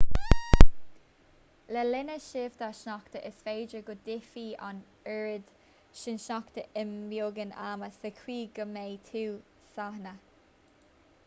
le linn síobtha sneachta is féidir go dtitfidh an oiread sin sneachta i mbeagán ama sa chaoi go mbeadh tú sáinnithe